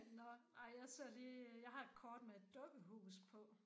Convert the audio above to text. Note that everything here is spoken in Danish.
Nåh ej jeg ser lige jeg har et kort med et dukkehus på